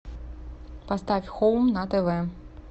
поставь хоум на тв